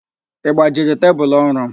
Ị gbajiri tebulu orụ m?